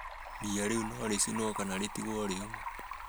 Ria rĩu no rĩcinwo kana ritigwo rĩume